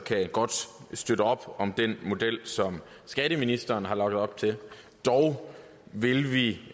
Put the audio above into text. godt støtte op om den model som skatteministeren har lagt op til dog vil vi